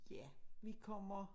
Ja vi kommer